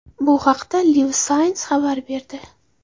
Bu haqda Live Science xabar berdi .